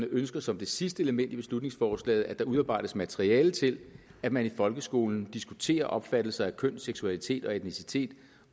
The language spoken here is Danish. ønsker som det sidste element i beslutningsforslaget at der udarbejdes materiale til at man i folkeskolen diskuterer opfattelser af køn seksualitet og etnicitet